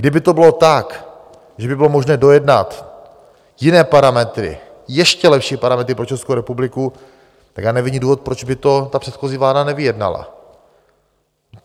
Kdyby to bylo tak, že by bylo možné dojednat jiné parametry, ještě lepší parametry pro Českou republiku, tak já nevidím důvod, proč by to ta předchozí vláda nevyjednala.